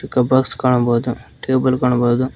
Cup box ಕಾಣಬೋದು table ಕಾಣಬೋದು.